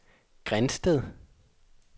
Grindsted